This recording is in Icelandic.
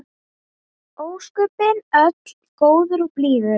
Ósköpin öll góður og blíður.